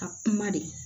Ka kuma de